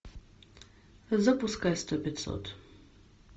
запускай сто пятьсот